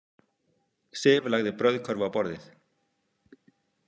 Sif lagði brauðkörfu á borðið.